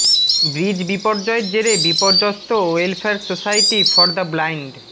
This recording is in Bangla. ব্রিজ বিপর্যয়ের জেরে বিপর্যস্ত welfare society for the blind